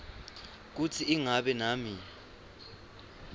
kutsi ingabe nami